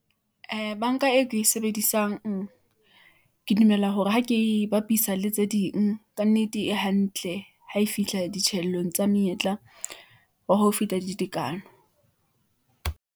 Ee, bank-a eo ke e sebedisang , ke dumela hore ha ke e bapisa le tse ding . Kannete e hantle , ha e fihla ditjheleteng tsa monyetla wa ho feta di tekano.